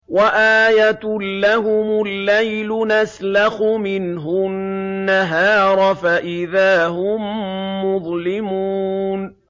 وَآيَةٌ لَّهُمُ اللَّيْلُ نَسْلَخُ مِنْهُ النَّهَارَ فَإِذَا هُم مُّظْلِمُونَ